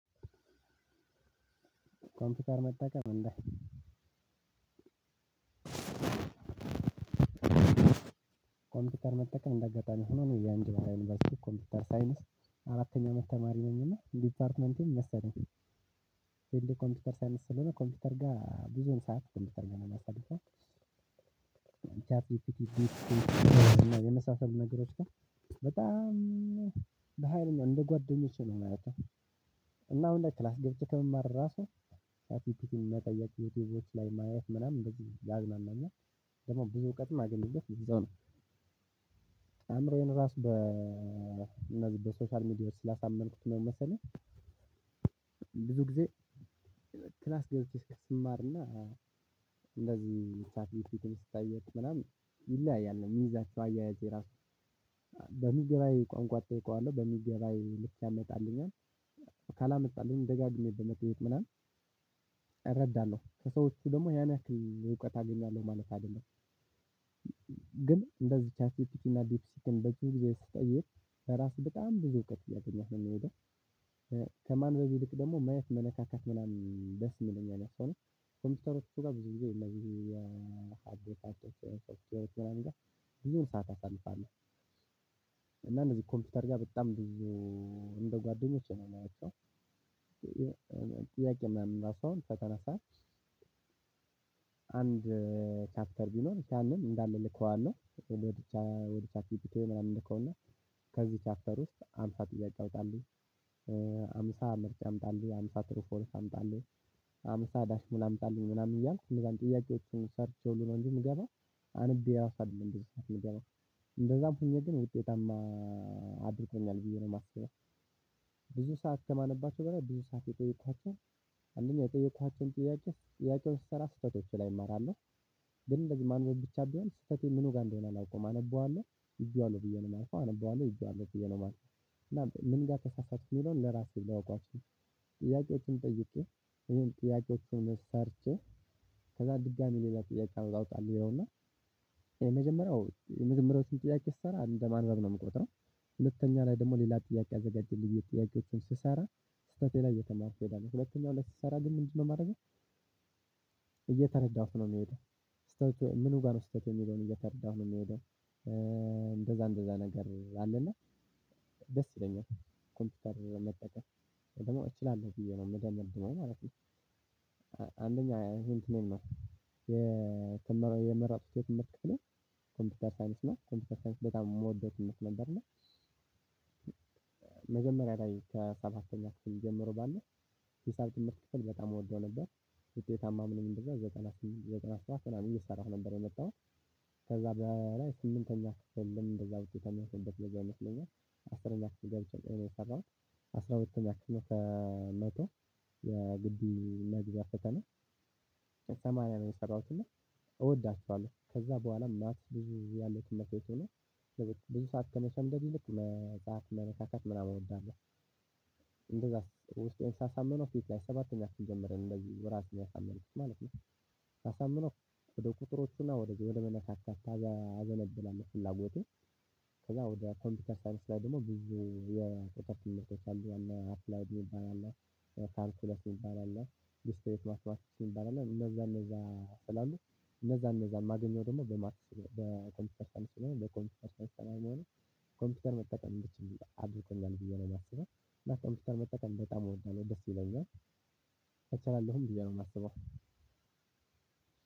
ኮምፒውተር መጠቀም እንደ ኮምፒውተር መጠቀም እንዳጋጣሚ ሆኖ እኔ የኢንጅባራ ዩኒቨርስቲ ኮምፒውተር ሳይንስ አራተኛ አመት ተማሪ ነኝና ዲፓርትመንቴም መሰለኝ ዲግሪ ኮምፒውተር ሳይንስ ስለሆነ ኮምፒውተር ጋር ብዙም ሰዓት ኮምፒውተር ላይ ነው የማሳልፈው። እና የመሳሰሉን ነገሮች ጋር በጣም በሃይል እንደ ጓደኞቼ ነው ማያቸው። እና አሁን ላይ ክላስ ገብቼ ከምማር ራሱ ቻትጂፒቲን መጠየቅ ዩቲዩቦች ላይ ማየት ምናምን እንደዚህ ያዝናናኛል። ደግሞ ብዙ እውቀትም አገኘሁበት ይዘው ነው። አእምሮዬን ራሱ በ በሶሻል ሚዲያ ውስጥ ስላሳመንኩት ነው መሰለኝ። ብዙ ጊዜ ክላስ ገብቼ እስክስማርና። እንደዚህ ቻትጂፒቲን ስጠይቅ ምናምን ይለያያል የሚይዛቸው አያያዜ እራሱ በሚገባኝ ቋንቋ እጠይቀዋለሁ በሚገባኝ ልክ ያመጣልኛል። ካላመጣልኝ ደጋግሜ በመጠየቅ ምናምን እረዳለሁ። ከሰዎቹ ደግሞ ያን ያክል እውቀት አገኛለሁ ማለት አይደለም። ግን እንደዚህ ቻትጂፒቲ እና ዲፕሲክን በሱ ጊዜ ስጠይቅ በራሱ በጣም ብዙ እውቀት እያገኘህ ነው የሚሄደው። ከማንም ይልቅ ደግሞ ማየት መነካካት ምናምን ደስ ይለኛል መሰለኝ። ኮምፒውተሮች ጋር ብዙ ጊዜ እንደዚህ አቶ ተከራይቶ ብዙም ሰዓት አሳልፋለሁ። እና እነዚህ ኮምፒውተር ጋር በጣም ብዙ እንደ ጓደኞቼ ነው ማያቸው። ጥያቄ ምናምን ራሱ አሁን ከተነሳ አንድ ቻፕተር ቢኖር ያንን እንዳለ እልከዋለሁ ወደ ቻትጂፒቲ ይሄንያህል እልከውና ከዚህ ቻፕተር ውስጥ ሃምሳ ጥያቄ አውጣለኝ። ሃምሳ ምርጫ አምጣልኝ ሃምሳ ትሩፎልስ አምጣልኝ ሃምሳ ዳሽሙላ አምጣልኝ ምናምን እያልኩ ሌላም ጥያቄዎቹን ሰርቼው ነው እንጂ የምገባው። አንብቤ ራሱ አይደለም በሱፊት የምገባው። እንደዛም ሁኜ ግን ውጤታማ አድርጎኛል ብዬ ነው የማስበው። ብዙ ሰዓት ከማነባቸው በላይ ብዙ ሰዓት የጠየኳቸው አንደኛ የጠየኳቸውን ጥያቄ ጥያቄዎች ስሰራ ስህተቶች ላይ እማራለሁ። ግን እንደዚህ ማንበብ ብቻ ቢሆን ስህተቴ ምኑ ጋር እንደሆነ አላውቅም። አነበዋለሁ ይዤዋለሁ ብዬ ነው የማልፈው አነበዋለሁ ይዤዋለሁ ብዬ ነው የማልፈው። እና ምን ጋር ተሳሳትኩኝ ሚለውን ለራሴ ላውቀው አልችልም። ጥያቄዎችን ጠይቄ ይሄን ጥያቄዎችን መሰርቼ ከዛ ድጋሚ ሌላ ጥያቄ አውጣ እንለውና የመጀመሪያው የመጀመሪዎቹን ጥያቄ ስሰራ እንደማንዋል ነው የምቆጥረው። ሁለተኛ ላይ ደግሞ ሌላ ጥያቄ አዘጋጀልኝ የጥያቄዎቹን ስሰራ ስህተቴ ላይ እየተማርኩ እሄዳለው ሁለተኛው ላይ ስሰራ ግን ምንድነው ማረገው? እየተረዳሁት ነው የሚሄደው። ስህተት ምኑ ጋር ነው ስህተት የሚለውን እየተረዳሁ ነው የሚሄደው። እንደዛ እንደዛ ነገር አለና ደስ ይለኛል። ኮምፒውተር መጠቀም ወይ ደግሞ እችላለሁ ብዬ ነው የምደምድመው ማለት ነው። አንደኛ አይሁን ትንሽ የትም የመረጥኩት የትምህርት ክፍሌ ኮምፒውተር ሳይንስ ነው ኮምፒውተር ሳይንስ በጣም የምወደው ትምህርት ነበር። እና ላይ ከሰባተኛ ክፍል ጀምሮ ባለው ሂሳብ ትምህርት ክፍል በጣም እወደው ነበር። ውጤታማ ምለው ምንድነው? የጥናት የጥናት ሰዓት ስራ እየሰራሁ ነበር የመጣሁት። ከዛ በላይ ስምንተኛ ክፍልም እንደዛ ውጤት ያለፍኩበት ጊዜ አይመስለኝም። አስረኛ ክፍል ገብቼ ነው የሰራሁት። አስራ ሁለተኛ ክፍል ከመቶ የግቢ መግቢያ ፈተና። ከሰማንያ ነው የሰራሁት እና። እወዳቸዋለሁ ከዛ በኋላ ማትስ ብዙ ያለችን መቼት ሆኖ ብዙ ሰዓት ከመሸምደድ ይልቅ መጽሐፍ መነካካት ምናምን እወዳለሁ። እንደዛስ ውስጤን ሳሳምነው ፊት ላይ ሰባተኛ ክፍል ጀምሬ ነው እንደዚህ ራሴን ያሳመንኩት ማለት ነው። ሳሳምነው ወደ ቁጥሮቹና ወደዚህ ወደ መነካካት አዘነብሏል ፍላጎቴ። ከዛ ወደ ኮምፒውተር ሳይንስ ጋር ደግሞ ብዙ የተከ ትምህርቶች አሉ እነአፕላይድ የሚባል አለ። ካልኩለስ የሚባል አለ። ዱስትሪት ዋት ዋት ይባላል እነዛ እነዛ ስላሉ እነዛ እነዛ ማገኘው ደግሞ በማትስ በኮምፒውተር ሳይንስ ስለሆነ በኮምፒውተር ሳይንስ ነው የሚሆነው። ኮምፒውተር መጠቀም እንድችል አድርጎኛል ብዬ ነው የማስበው። እና ከኮምፒውተር መጠቀም በጣም እወዳለሁ ደስ ይለኛል። እቻላለሁም ብዬ ነው የማስበው።